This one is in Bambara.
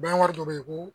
Bangeri dɔ bɛ yen ko